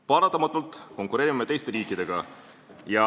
Paratamatult konkureerime me teiste riikidega.